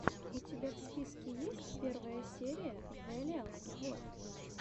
у тебя в списке есть первая серия вэлиал сквод